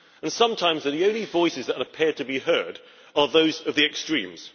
And sometimes the only voices that appear to be heard are those of the extremes.